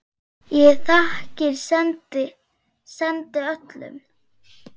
Ég þakkir sendi, sendi öllum.